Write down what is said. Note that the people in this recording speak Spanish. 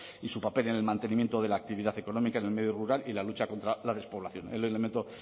y su papel en el mantenimiento de la actividad económica en el medio rural y la lucha contra la despoblación ese es el elemento